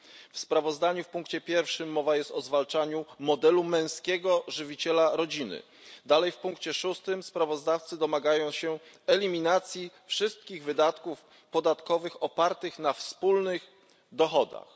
W sprawozdaniu w punkcie pierwszym mowa jest o zwalczaniu modelu męskiego żywiciela rodziny. Dalej, w punkcie szóstym, sprawozdawcy domagają się eliminacji wszystkich wydatków podatkowych opartych na wspólnych dochodach.